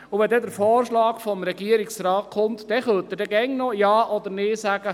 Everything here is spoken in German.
Wenn der Vorschlag des Regierungsrates kommt, können Sie immer noch Ja oder Nein dazu sagen.